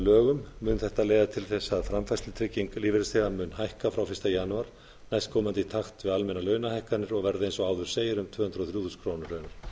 lögum mun þetta leiða til þess að framfærslutrygging lífeyrisþeganna mun hækka frá fyrsta janúar næstkomandi í takt við almennar launahækkanir og verða eins og áður segir um tvö hundruð og þrjú þúsund krónur